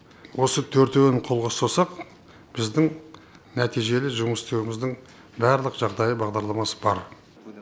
осы төртеуін қолға ұстасақ біздің нәтижелі жұмыс істеуіміздің барлық жағдайы бағдарламасы бар